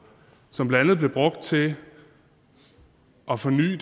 som blandt andet blev brugt til at forny